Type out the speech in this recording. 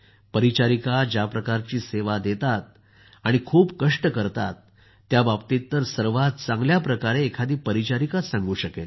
परिचारिका ज्या प्रकारची सेवा देतात आणि कठोर कष्ट करतात त्याबाबतीत तर सर्वात चांगल्या प्रकारे एखादी परिचारिकाच सांगू शकेल